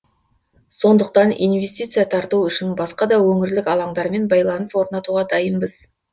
сондықтан инвестиция тарту үшін басқа да өңірлік алаңдармен байланыс орнатуға дайынбыз